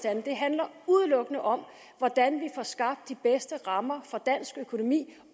andet det handler udelukkende om hvordan vi får skabt de bedste rammer for dansk økonomi